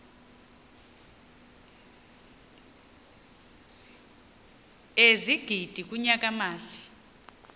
ezigidi kunyaka mali